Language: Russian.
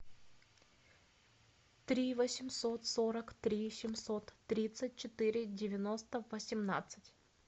три восемьсот сорок три семьсот тридцать четыре девяносто восемнадцать